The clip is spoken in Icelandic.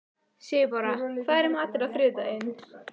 Sigurbára, hvað er í matinn á þriðjudaginn?